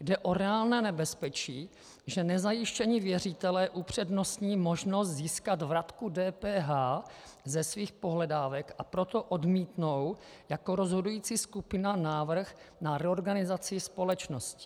Jde o reálné nebezpečí, že nezajištění věřitelé upřednostní možnost získat vratku DPH ze svých pohledávek, a proto odmítnou jako rozhodující skupina návrh na reorganizaci společnosti.